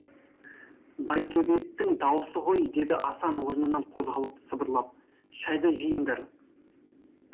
байтөбеттің дауысы ғой деді асан орнынан қозғалып сыбырлап шайды жиыңдар